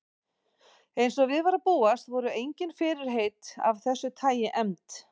Eins og við var að búast voru engin fyrirheit af þessu tagi efnd.